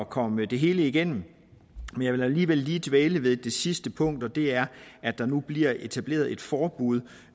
komme det hele igennem men jeg vil alligevel lige dvæle ved det sidste punkt og det er at der nu bliver etableret et forbud